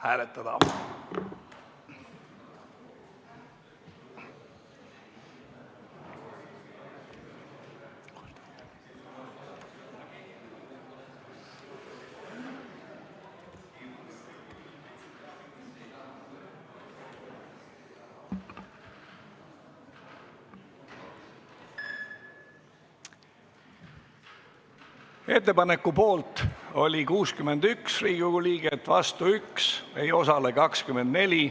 Hääletustulemused Ettepaneku poolt oli 61 Riigikogu liiget, vastu 1, ei osalenud 24.